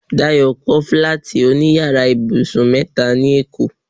Dayo kọ́ fílátì òní yàrá ibùsùn mẹ́ta ní èkó